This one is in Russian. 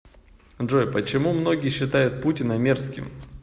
джой почему многие считают путина мерзким